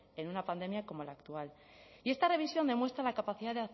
en una pandemia como la actual y esta revisión demuestra la capacidad